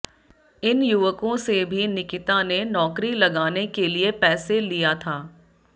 इन युवकों से भी निकिता ने नौकरी लगाने के लिए पैसे लिया था